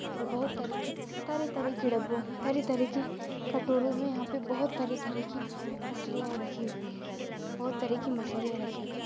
और बहुत तरह की तरह तरह की डब्बो तरह तरह की कटोरो में यहाँ पर बहुत तरह तरह की मछलिया रखी हुई है। बहुत तरह की मछलिया रखी हुई--